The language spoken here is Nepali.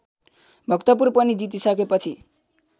भक्तपुर पनि जितिसकेपछि